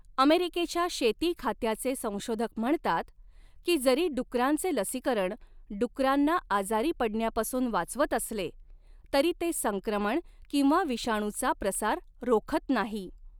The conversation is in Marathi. अमेरिकेच्या शेती खात्याचे संशोधक म्हणतात की जरी डुकरांचे लसीकरण डुकरांना आजारी पडण्यापासून वाचवत असले, तरी ते संक्रमण किंवा विषाणूचा प्रसार रोखत नाही.